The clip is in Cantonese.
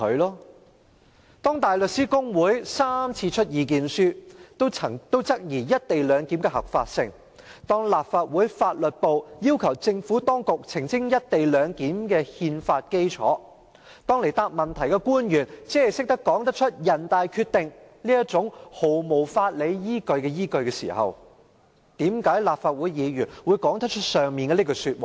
"當香港大律師公會3次發表意見書質疑"一地兩檢"的合法性；當立法會秘書處法律事務部要求政府當局澄清"一地兩檢"的憲法基礎；當到來回答質詢的官員只是說得出"人大常委會決定"這種毫無法理依據的依據時，為何有些立法會議員可以說出以上的那句話？